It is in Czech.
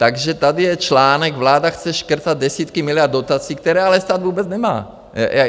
Takže tady je článek: "Vláda chce škrtat desítky miliard dotací, které ale stát vůbec nemá."